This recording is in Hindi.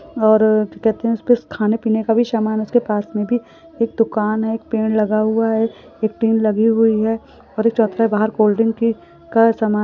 और क्या कहते है खाने पीने का सामान उसके पास मे भी एक दुकान है एक पेड़ लगा हुआ है एक टेन लगी हुई है और एक कोल्डड्रिंक का सामान --